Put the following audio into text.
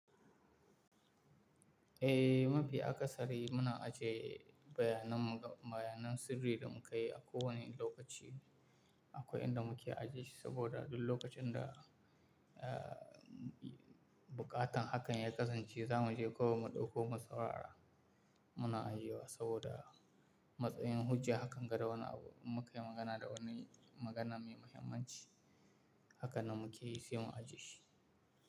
Eh, mafi a ƙasari muna ajiye bayanan, bayanan sirri da mu ka yi a kowane lokaci. Akwai inda mu ke ajiye shi saboda duk lokacin da, ah, bukatan hakan ya kasance za mu je ko mu ɗauko mu saurara muna ajiye wa saboda matsayin hujja hakan ga da wani abu mun ka yi magana da wani magana mai muhimmanci hakanan mu ke yi sai mu ajiye shi.